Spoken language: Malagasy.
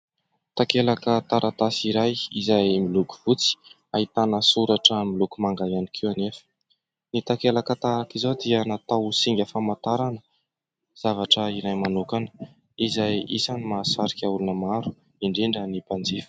Takelaka taratasy iray izay miloko fotsy, ahitana soratra miloko manga ihany koa anefa. Ny takelaka tahaka izao dia natao ho singa famantarana zavatra iray manokana izay isan'ny mahasarika olona maro, indrindra ny mpanjifa.